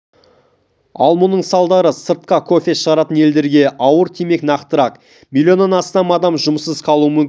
ал мұның салдары сыртқа кофе шығаратын елдерге ауыр тимек нақтырақ млн-нан астам адам жұмыссыз қалуы мүмкін